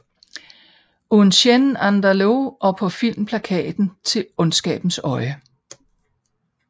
Un Chien Andalou og på filmplakaten til Ondskabens øjne